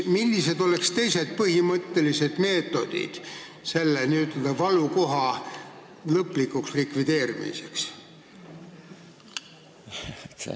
Millised oleksid teised põhimõttelised meetodid selle n-ö valukoha lõplikuks likvideerimiseks?